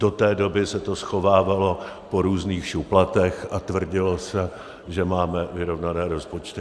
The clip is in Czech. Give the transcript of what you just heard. Do té doby se to schovávalo po různých šuplatech a tvrdilo se, že máme vyrovnané rozpočty.